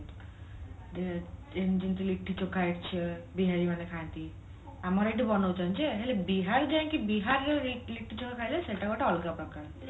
ଯେମିତି ଲିଟି ଚୋଖା ବିହାରୀ ମାନେ ଖାଆନ୍ତି ଆମର ଏଠି ବନାଉଛନ୍ତି ଯେ ହେଲେ ବିହାର ଯାଇକି ବିହାରର ଲିଟି ଚୋଖା ଖାଇଲେ ସେଇଟା ଗୋଟେ ଅଲଗା ପ୍ରକାର